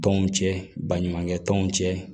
Tɔnw cɛ baɲumankɛ tɔnw cɛ